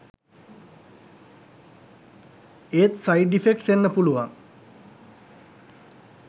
ඒත් side effects එන්න පුලුවන්